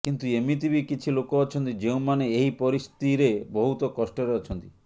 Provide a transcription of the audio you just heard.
କିନ୍ତୁ ଏମିତି ବି କିଛି ଲୋକ ଅଛନ୍ତି ଯେଉଁମାନେ ଏହି ପରିସ୍ଥିରେ ବହୁତ କଷ୍ଟରେ ଅଛନ୍ତି